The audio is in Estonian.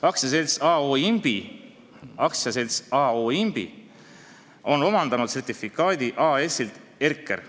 AS A.O. Imbi on omandanud sertifikaadi AS-ilt Erkers.